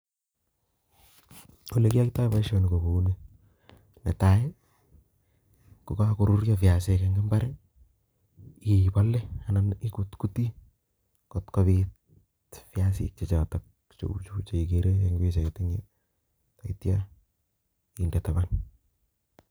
Ole koyoitoi boisioni ko kouni, netai, kogakoruryo viasik eng' imbar, ibole anan ikutkutii kotkobit viasik che chotok cheu chu cheikere eng' pichait eng'yu taityo inde taban.